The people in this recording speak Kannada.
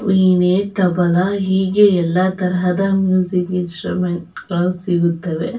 ವೀಣೆ ತಬಲ ಹೀಗೆ ಎಲ್ಲ ತರಹಾ ಮ್ಯೂಸಿಕ್ ಇನ್ಸ್ ಸ್ಟ್ರ್ಯುಮೆಂಟ್ ಗಳು ಸಿಗುತ್ತವೆ.